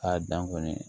A dan kɔni